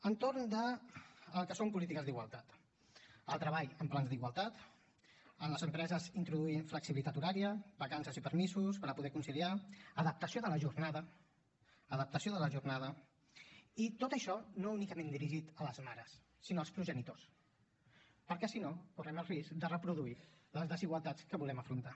entorn del que són polítiques d’igualtat el treball en pla d’igualtat en les empreses introduir flexibilitat horària vacances i permisos per a poder conciliar adaptació de la jornada adaptació de la jornada i tot això no únicament dirigit a les mares sinó als progenitors perquè si no correm el risc de reproduir les desigualtats que volem afrontar